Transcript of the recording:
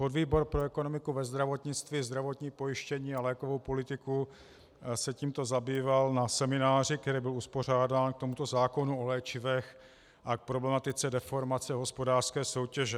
Podvýbor pro ekonomiku ve zdravotnictví, zdravotní pojištění a lékovou politiku se tímto zabýval na semináři, který byl uspořádán k tomuto zákonu o léčivech a k problematice deformace hospodářské soutěže.